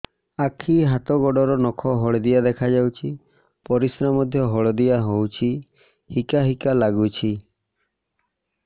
ଆଖି ହାତ ଗୋଡ଼ର ନଖ ହଳଦିଆ ଦେଖା ଯାଉଛି ପରିସ୍ରା ମଧ୍ୟ ହଳଦିଆ ହଉଛି ହିକା ହିକା ଲାଗୁଛି